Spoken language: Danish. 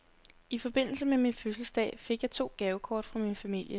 I forbindelse med min fødselsdag fik jeg to gavekort fra min familie.